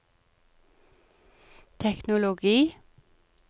teknologi